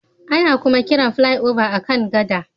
Ana kuma kiran Flyover a kan gada